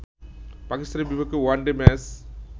পাকিস্তানের বিপক্ষে one day match